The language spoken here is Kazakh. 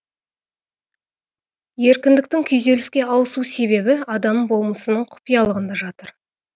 еркіндіктің күйзеліске ауысу себебі адам болмысының құпиялығында жатыр